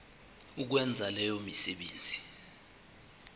ukwenza leyo misebenzi